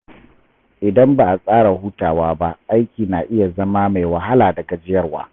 Idan ba a tsara hutawa ba, aiki na iya zama mai wahala da gajiyarwa.